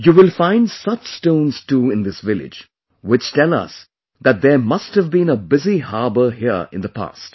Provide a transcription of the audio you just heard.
You will find such stones too in thisvillage which tell us that there must have been a busy harbour here in the past